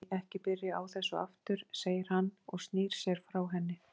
Æ, ekki byrja á þessu aftur, segir hann og snýr sér frá henni.